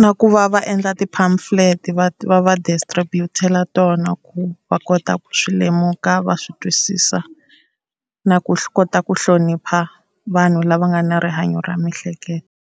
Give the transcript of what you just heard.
Na ku va va endla ti-pamphlet va va va distribut-ela tona ku va kota ku swi lemuka va swi twisisa, na ku kota swi kota ku hlonipha vanhu lava nga na rihanyo ra miehleketo.